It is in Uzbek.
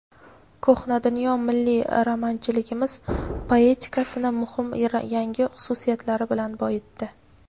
"Ko‘hna dunyo" milliy romanchiligimiz poetikasini muhim yangi xususiyatlari bilan boyitdi.